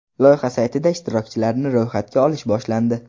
Loyiha saytida ishtirokchilarni ro‘yxatga olish boshlandi.